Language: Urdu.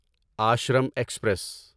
آشرم ایکسپریس